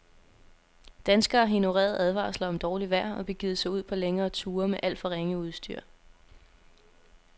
Danskerne har ignoreret advarsler om dårligt vejr og begivet sig ud på længere ture med alt for ringe udstyr.